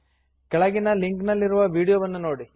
ಕೆಳಗಿನ ಲಿಂಕ್ ನಲ್ಲಿರುವ ವೀಡಿಯೊವನ್ನು ನೋಡಿ